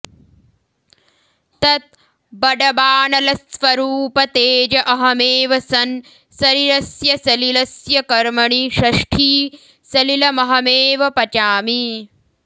तत् बडबानलस्वरूप तेज अहमेव सन् सरिरस्य सलिलस्य कर्मणि षष्ठी सलिलमहमेव पचामि